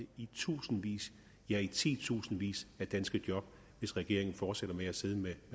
i tusindvis ja i titusindvis af danske job hvis regeringen fortsætter med at sidde med